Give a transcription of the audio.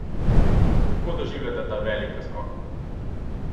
Kako doživljate ta velik preskok?